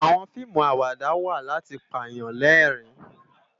Àwòn fiimú àwádá wá làti pá yán lèrin